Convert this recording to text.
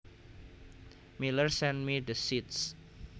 Miller sent me the seeds